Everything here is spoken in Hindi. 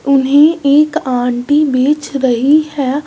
उन्हें एक आंटी बेच रही है।